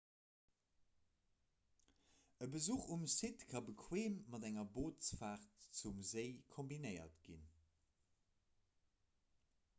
e besuch um site ka bequeem mat enger bootsfaart zum séi kombinéiert ginn